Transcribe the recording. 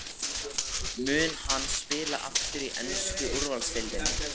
Mun hann spila aftur í ensku úrvalsdeildinni?